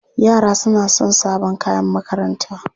Yara suna son sabon kayan makaranta.